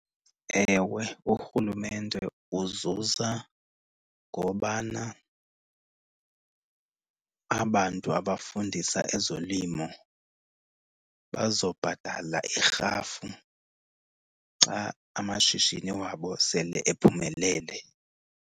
Ewe, urhulumente uzuza ngobana aba bantu abafundisa ezolimo bazobhatala irhafu xa amashishini wabo sele ephumelele.